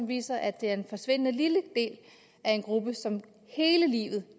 viser at det er en forsvindende lille del af en gruppe som hele livet